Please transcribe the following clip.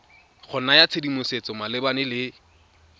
go naya tshedimosetso malebana le